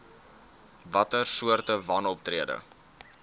watter soorte wanoptrede